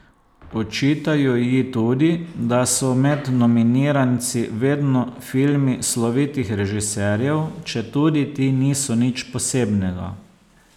Očitajo ji tudi, da so med nominiranci vedno filmi slovitih režiserjev, četudi ti niso nič posebnega.